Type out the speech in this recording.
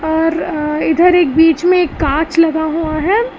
और अ इधर एक बीच में कांच लगा हुआ है।